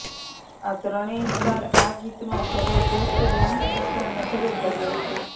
આ ત્રણેય સ્ટાર આ ગીતમાં જબરદસ્ત ડાન્સ કરતાં નજરે પડ્યાં છે